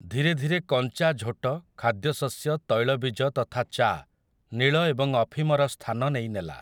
ଧୀରେ ଧୀରେ କଞ୍ଚା ଝୋଟ ଖାଦ୍ୟ ଶସ୍ୟ ତୈଳବୀଜ ତଥା ଚା ନୀଳ ଏବଂ ଅଫିମର ସ୍ଥାନ ନେଇନେଲା ।